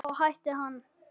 Þá hætti hann.